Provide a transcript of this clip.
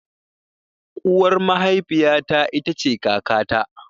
Uwar mahafiya ta ita ce kaka ta.